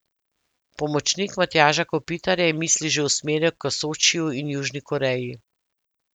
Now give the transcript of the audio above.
Pomočnik Matjaža Kopitarja je misli že usmeril k Sočiju in Južni Koreji.